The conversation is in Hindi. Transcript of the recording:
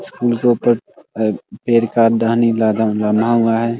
स्कूल के ऊपर एक पेड़ का टहनी लदा लामा हुआ है ।